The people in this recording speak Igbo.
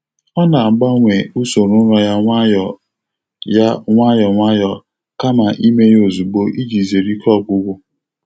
Ọ na-agbanwe usoro ụra ya nwayọ ya nwayọ nwayọ kama ime ya ozugbo iji zere ike ọgwụgwụ.